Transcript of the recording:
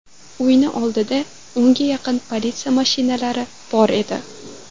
Uyini oldida o‘nga yaqin politsiya mashinalari bor edi.